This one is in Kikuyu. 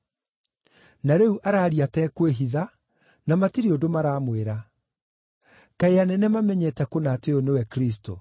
Na rĩu araaria atekwĩhitha, na matirĩ ũndũ maramwĩra. Kaĩ anene mamenyete kũna atĩ ũyũ nĩwe Kristũ?